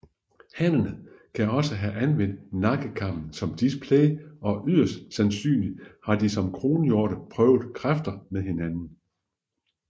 Hannerne kan også have anvendt nakkekammen som display og yderst sandsynligt har de som kronhjorte prøvet kræfter med hinanden